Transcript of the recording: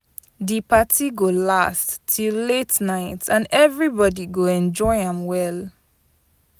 Di party go last till late night, and everybody go enjoy am well.